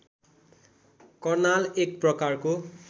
कर्नाल एक प्रकारको